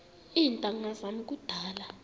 iintanga zam kudala